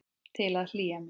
Til að hlýja mér.